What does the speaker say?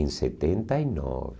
Em setenta e nove.